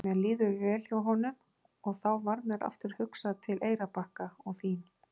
Mér líður vel hjá honum og þá varð mér aftur hugsað til Eyrarbakka og þín.